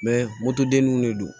motodenninw de do